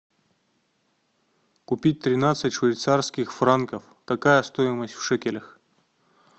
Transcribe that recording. купить тринадцать швейцарских франков какая стоимость в шекелях